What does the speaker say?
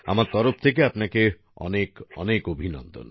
আমার তরফ থেকে আপনাকে অনেক অনেক অভিনন্দন